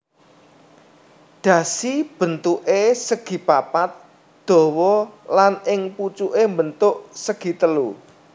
Dhasi bentuké segipapat dawa lan ing pucuké mbentuk segitelu